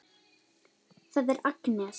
Það er Agnes.